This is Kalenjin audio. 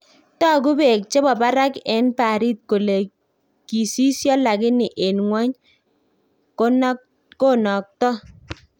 Taku beek chebo barak en baarit kole kisisio, lakini en ngwony konatko